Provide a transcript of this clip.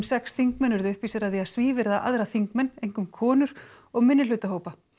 sex þingmenn urðu uppvísir að því að svívirða aðra þingmenn einkum konur og minnihlutahópa